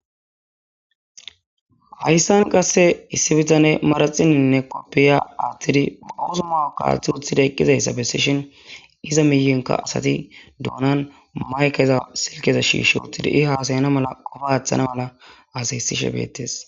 Hayssan qasse issi bitane maraxininne koppiya aathtidi puusumaw kaaththi uthida eqqizayssa bessishin iza miyinka asati duunan maykeza silkeza shiishi uttidi i haasayana mala qofa aththana mala asahyssishe beettes.